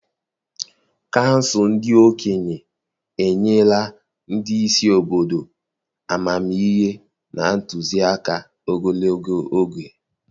Kansụl ndị okenye enyela ndị isi obodo amamihe na ntụzịaka ogologo oge.